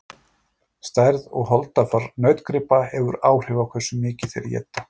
stærð og holdafar nautgripa hefur áhrif á hversu mikið þeir éta